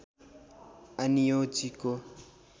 आनियो जी को